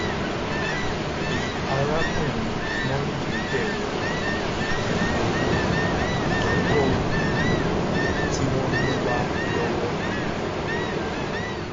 i arákùnrin mondal bèrè okòwò pẹlú owó ìdókóòwò tí wọn mú wá lówó